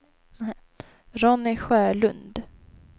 Ronny Sjölund